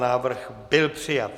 Návrh byl přijat.